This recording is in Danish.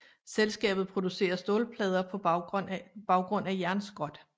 Selskabet producerer stålplader på baggrund af jernskrot